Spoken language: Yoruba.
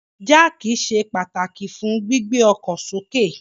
Jáákí ṣe pataki fun gbigbe ọkọ soke